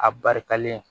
A barikalen